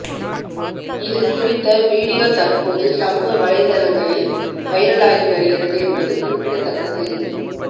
இது குறித்த வீடியோ தற்போது சமூக வலைதளங்களில் வைரலாகி வருகிறது என்பது குறிப்பிடத்தக்கது